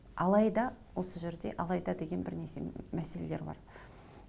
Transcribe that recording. алайда осы жерде алайда деген бір мәселелер бар